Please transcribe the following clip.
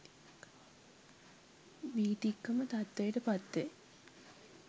වීතික්කම තත්ත්වයට පත්වේ